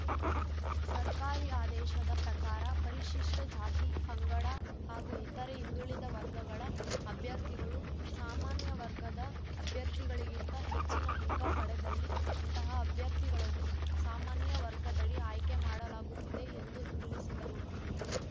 ಸರ್ಕಾರಿ ಆದೇಶದ ಪ್ರಕಾರ ಪರಿಶಿಷ್ಟಜಾತಿ ಪಂಗಡ ಹಾಗೂ ಇತರೆ ಹಿಂದುಳಿದ ವರ್ಗಗಳ ಅಭ್ಯರ್ಥಿಗಳು ಸಾಮಾನ್ಯ ವರ್ಗದ ಅಭ್ಯರ್ಥಿಗಳಿಗಿಂತ ಹೆಚ್ಚಿನ ಅಂಕ ಪಡೆದಲ್ಲಿ ಅಂತಹ ಅಭ್ಯರ್ಥಿಗಳನ್ನು ಸಾಮಾನ್ಯ ವರ್ಗದಡಿ ಆಯ್ಕೆ ಮಾಡಲಾಗುತ್ತಿದೆ ಎಂದು ತಿಳಿಸಿದರು